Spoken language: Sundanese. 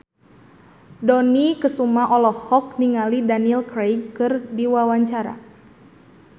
Dony Kesuma olohok ningali Daniel Craig keur diwawancara